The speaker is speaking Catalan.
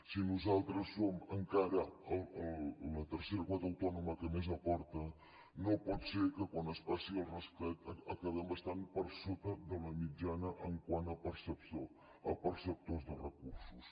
si nosaltres som encara la tercera comunitat autònoma que més hi aporta no pot ser que quan es passi el rasclet acabem estant per sota de la mitjana quant a perceptors de recursos